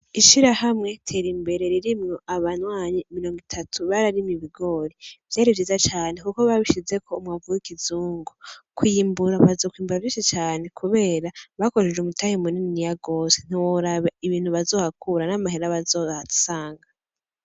Ishirahamwe Terimbere ririmwo abanywanyi mirongo itatu bararimye ibigori. Vyari vyiza cane kuko babishizeko umwavu w'ikizungu. Kw'iyimbura bazonkwimbura vyinshi cane kubera bakoresheje umutahe muniniya gose. Ntiworaba ibintu bazohakura n'amahera bazohasanga.